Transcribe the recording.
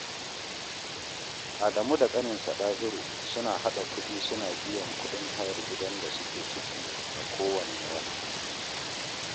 Adamu da ƙaninsa Ɗahiru suna haɗa kuɗi suna biyan kuɗin hayar gidan da suke ciki a kowanne wata